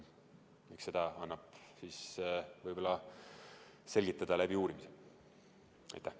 Eks seda annab võib-olla uurimisel selgitada.